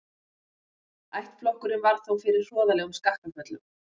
Ættflokkurinn varð þó fyrir hroðalegum skakkaföllum.